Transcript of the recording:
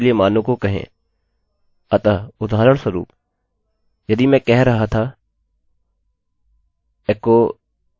ठीक है तो यह बेसिक अरैarray है और दो अलग तरीकों से इसके लिए कैसे मानों को बनायें और कैसे इसके लिए मानों को कहें